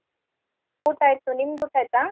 ಊಟಾ ಆಯ್ತು ನಿಮ್ದೂ ಊಟಾಯ್ತಾ?